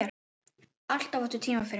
Alltaf áttu tíma fyrir mig.